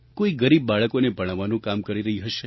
કોઈ ગરીબ બાળકોને ભણાવવાનું કામ કરી રહી હશે